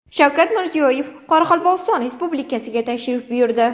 Shavkat Mirziyoyev Qoraqalpog‘iston Respublikasiga tashrif buyurdi.